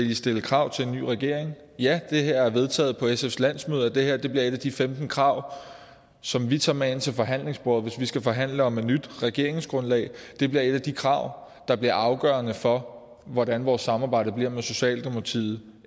vil stille krav til en ny regering ja det er vedtaget på sfs landsmøde at det her bliver et af de femten krav som vi tager med ind til forhandlingsbordet hvis vi skal forhandle om et nyt regeringsgrundlag det bliver et af de krav der bliver afgørende for hvordan vores samarbejde med socialdemokratiet